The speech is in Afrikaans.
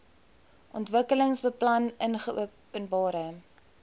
ontwikkelingsbeplanningopenbare